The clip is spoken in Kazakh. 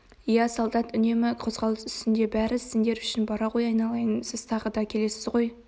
иә солдат үнемі қозғалыс үстінде бәрі сендер үшін бара ғой айналайын сіз тағы да келесіз ғой